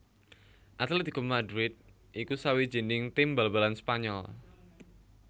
Atlético Madrid iku sawijining tim bal balan Spanyol